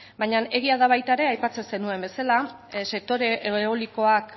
baina egia da baita ere aipatzen zenuen bezala sektore eolikoak